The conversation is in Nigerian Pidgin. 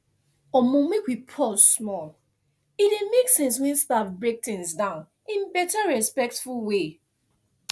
omo make we pause small e dey make sense when staff break things down in better respectful way